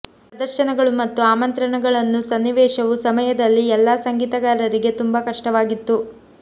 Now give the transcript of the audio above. ಪ್ರದರ್ಶನಗಳು ಮತ್ತು ಆಮಂತ್ರಣಗಳನ್ನು ಸನ್ನಿವೇಶವು ಸಮಯದಲ್ಲಿ ಎಲ್ಲಾ ಸಂಗೀತಗಾರರಿಗೆ ತುಂಬಾ ಕಷ್ಟವಾಗಿತ್ತು